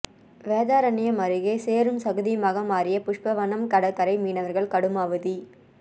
வேதாரண்யம் அருகே சேறும் சகதியுமாக மாறிய புஷ்பவனம் கடற்கரை மீனவர்கள் கடும் அவதி